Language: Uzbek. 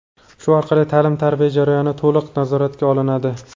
Shu orqali ta’lim-tarbiya jarayoni to‘liq nazoratga olinadi.